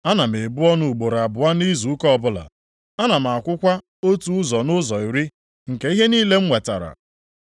Ana m ebu ọnụ ugboro abụọ nʼizu ụka ọbụla. Ana m akwụkwa otu ụzọ nʼụzọ iri nke ihe niile m nwetara.’